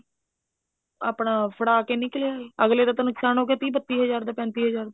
ਆਪਣਾ ਫੜਾ ਕੇ ਨਿਕਲ ਆਏ ਅਗਲੇ ਦਾ ਨੁਕਸਾਨ ਹੋਗਿਆ ਤੀਹ ਬੱਤੀ ਹਜ਼ਾਰ ਦਾ ਪੈਂਤੀ ਹਜ਼ਾਰ ਦਾ